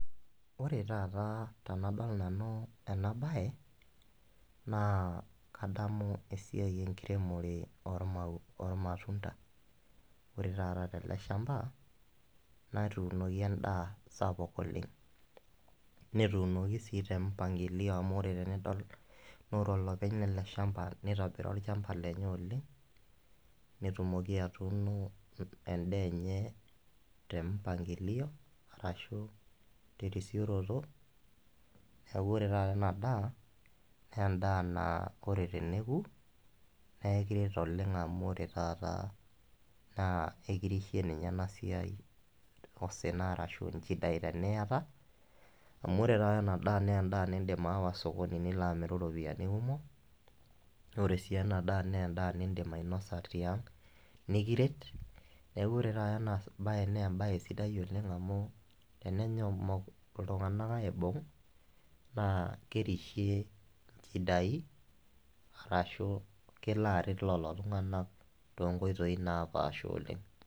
Ore taata tenadol nanu ena bae naa kadamu esiai enkiremore ormau, ormatunda. Ore taata teleshamba netuunoki endaa sapuk oleng, netuunoki si tempangilio amu ore tenidol naa ore olopeny lele shamba , nitobira olchamba lenye oleng , netumoki atuuno endaa enye tempangilio arashu terisioroto . Niaku ore taata ena daa , naa endaa naa ore teneku nee ekiret oleng amu ore taata naa ekirishie ninye ena siai, osina arashu nchidain teniata . Amu ore taata ena daa naa endaa nindim aawa osokoni nilo amiru ropiyiani kumok naa ore sii ena daa naa endaa nindim ainosa tiang, nikiret , niaku ore taata ena bae naa embae sidai oleng amu tenenyok iltunganak aibung naa kerishie inchidai arashu kelo aret lolo tunganak toonkoitoi naapasha oleng.